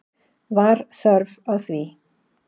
Var þörf á því?